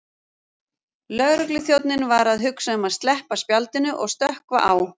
Lögregluþjónninn var að hugsa um að sleppa spjaldinu og stökkva á